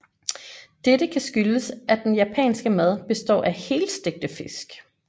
Dette kan skyldes at den japanske mad består af helstegte fisk